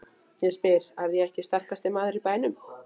Ég spyr: Er ég ekki sterkasti maður í bænum?